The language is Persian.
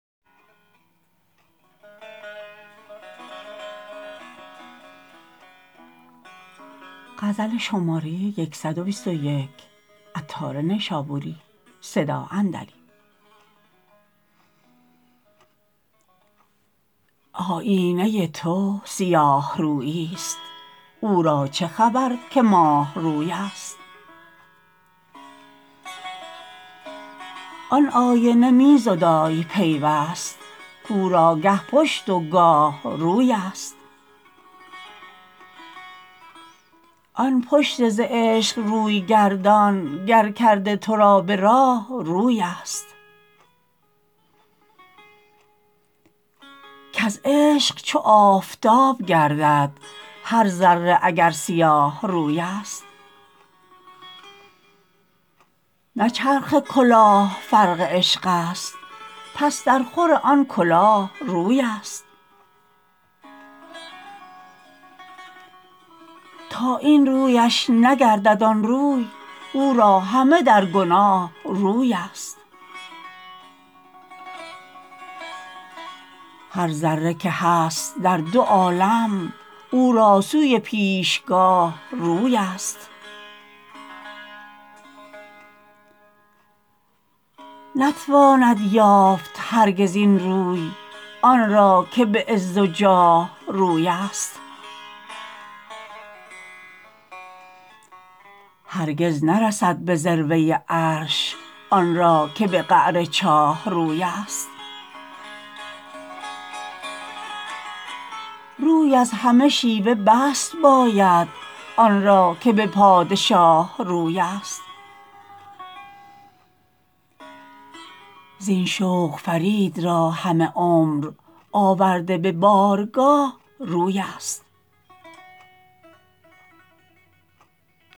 آیینه تو سیاه روی است او را چه خبر که ماه روی است آن آینه می زدای پیوست کورا گه پشت و گاه روی است آن پشت ز عشق روی گردان گر کرده تو را به راه روی است کز عشق چو آفتاب گردد هر ذره اگر سیاه روی است نه چرخ کلاه فرق عشق است پس در خور آن کلاه روی است تا این رویش نگردد آن روی او را همه در گناه روی است هر ذره که هست در دو عالم او را سوی پیشگاه روی است نتواند یافت هرگز این روی آن را که به عز و جاه روی است هرگز نرسد به ذروه عرش آن را که به قعر چاه روی است روی از همه شیوه بست باید آن را که به پادشاه روی است زین شوق فرید را همه عمر آورده به بارگاه روی است